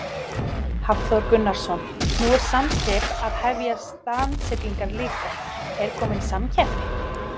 Hafþór Gunnarsson: Nú er Samskip að hefja strandsiglingar líka, er komin samkeppni?